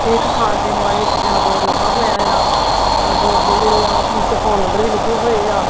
ਏਹ ਇੱਕ ਖਾਣ ਪੀਣ ਵਾਲੀਯਾਂ ਚੀਜਾਂ ਦਾ ਬੋਰਡ ਲੱਗਾ ਹੋਇਆ ਯਾ ਔਰ ਬੋਰਡ ਤੇ ਜੇਹੜੇ ਆ ਓਸਦੇ ਵਿੱਚ ਫੋਨ ਨੰਬਰ ਵੀ ਲਿਖੇ ਹੋਏ ਆ।